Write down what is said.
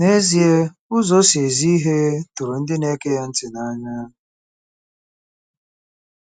N'ezie, 'ụzọ o si ezi ihe tụrụ ndị na-ege ya ntị n'anya.